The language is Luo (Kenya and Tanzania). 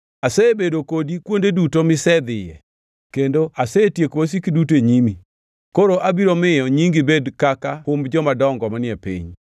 Asebedo kodi kuonde duto misedhiye, kendo asetieko wasiki duto e nyimi. Koro abiro miyo nyingi bed kaka humb jomadongo manie piny.